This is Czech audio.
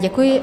Děkuji.